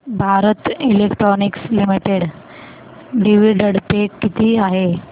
Bharat electronics limited dividend pay किती आहे